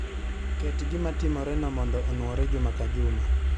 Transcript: Ket gima timoreno mondo onwore juma ka juma